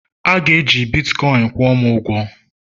A ga-eji Bitkọin kwụọ m ụgwọ!